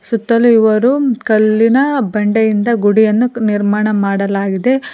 ಸುತ್ತಲೂ ಇವರು ಕಲ್ಲಿನ ಬಂಡೆಯಿಂದ ಗುಡಿಯನ್ನು ನಿರ್ಮಾಣ ಮಾಡಲಾಗಿದೆ.